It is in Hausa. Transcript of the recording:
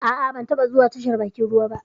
Ah ah, ba taba zuwa tashar bakin ruwa ba